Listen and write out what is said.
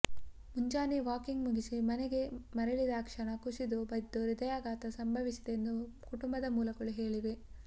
ಮುಂಜಾನೆ ವಾಕಿಂಗ್ ಮುಗಿಸಿ ಮನೆಗೆ ಮರಳಿದಾಕ್ಷಣ ಕುಸಿದು ಬಿದ್ದು ಹೃದಯಾಘಾತ ಸಂಭವಿಸಿದೆ ಎಂದು ಕುಟುಂಬದ ಮೂಲಗಳು ಹೇ್ಳಿವೆ